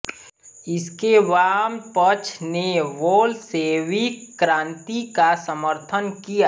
इसके वाम पक्ष ने बोल्शेविक क्रांति का समर्थन किया